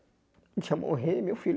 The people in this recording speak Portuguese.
Deixa eu morrer e meu filho